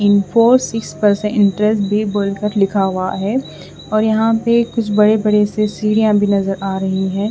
Info बी बॉय कट लिखा हुआ है और यहाँ पे कुछ बड़े बड़े से सीडिया भी नज़र आ रही है।